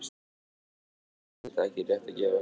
Þetta er auðvitað ekki rétt að gefa sér.